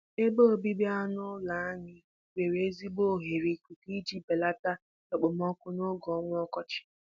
Ebe obibi anụ ụlọ anyị nwere ezigbo oghere ikuku iji beleta okpomọkụ n'oge ọnwa ọkọchị